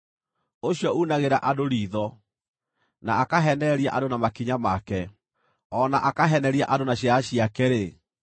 ũcio uunagĩra andũ riitho, na akaheenereria andũ na makinya make, o na akaheneria andũ na ciara ciake-rĩ,